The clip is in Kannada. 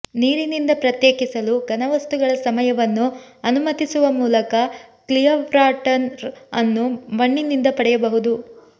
ನೀರಿನಿಂದ ಪ್ರತ್ಯೇಕಿಸಲು ಘನವಸ್ತುಗಳ ಸಮಯವನ್ನು ಅನುಮತಿಸುವ ಮೂಲಕ ಕ್ಲಿಯರ್ವಾಟರ್ ಅನ್ನು ಮಣ್ಣಿನಿಂದ ಪಡೆಯಬಹುದು